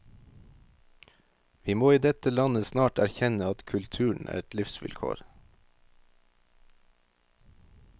Vi må i dette landet snart erkjenne at kulturen er et livsvilkår.